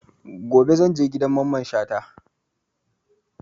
Gobe zan je gidan Mamman Shata